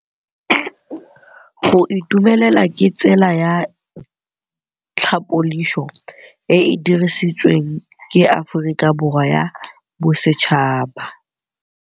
Go itumela ke tsela ya tlhapolisô e e dirisitsweng ke Aforika Borwa ya Bosetšhaba.